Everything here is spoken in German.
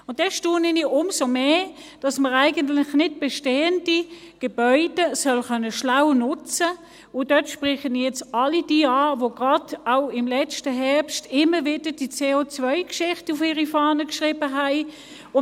Und dann staune ich umso mehr, dass man eigentlich nicht bestehende Gebäude schlau soll nutzen können, und damit spreche ich nun all jene an, die gerade auch im letzten Herbst immer wieder die CO-Geschichte auf ihre Fahne geschrieben haben.